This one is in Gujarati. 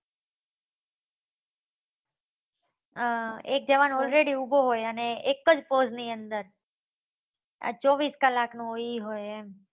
આ એક જવાન already ઉભો હોય અને એકજ pose ની અંદર આ ચોવીસ કલાક ની હોય ઇ હોય એમ